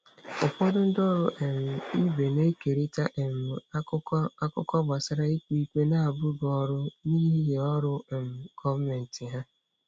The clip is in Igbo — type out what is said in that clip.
Ụfọdụ ndị ọrụ um ibe na-ekerịta um akụkọ akụkọ gbasara ikpe ikpe na-abụghị ọrụ n'ihi ọrụ um gọọmentị ha.